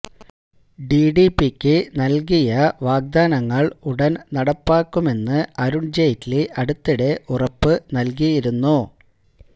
ടിഡിപിക്ക് നല്കിയ വാഗ്ദാനങ്ങള് ഉടന് നടപ്പാക്കുമെന്ന് അരുണ് ജെയ്റ്റ്ലി അടുത്തിടെ ഉറപ്പ് നല്കിയിരുന്നു